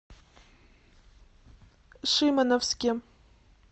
шимановске